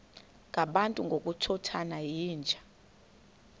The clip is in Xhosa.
ngabantu ngokukhothana yinja